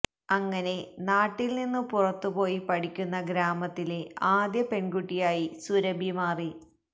അങ്ങനെ നാട്ടില് നിന്നു പുറത്തുപോയി പഠിക്കുന്ന ഗ്രാമത്തിലെ ആദ്യ പെണ്കുട്ടിയായി സുരഭി മാറി